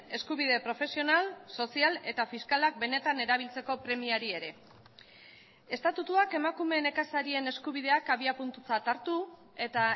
eskubide profesional sozial eta fiskalak benetan erabiltzeko premiari ere estatutuak emakume nekazarien eskubideak abiapuntutzat hartu eta